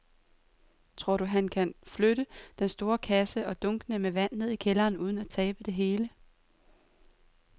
Tror du, at han kan flytte den store kasse og dunkene med vand ned i kælderen uden at tabe det hele?